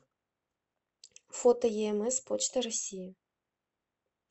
фото еэмэс почта россии